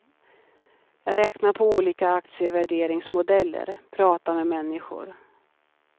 Jag räknar på olika aktievärderingsmodeller, pratar med människor.